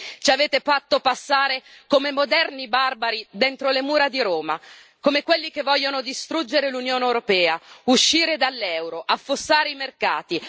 Ci avete fatto passare come moderni barbari dentro le mura di Roma, come quelli che vogliono distruggere l'Unione europea, uscire dall'euro, affossare i mercati.